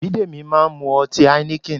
Bidemi máa ń mu ọtí Heineken